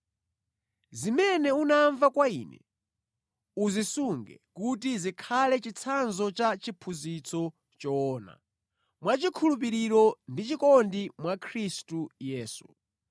Zimene unamva kwa ine, uzisunge kuti zikhale chitsanzo cha chiphunzitso choona, mwa chikhulupiriro ndi chikondi mwa Khristu Yesu.